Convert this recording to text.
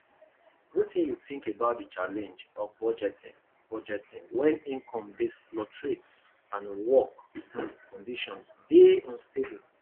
wetin you think about di challenge of budgeting budgeting when income dey fluctuate and work um conditions dey unstable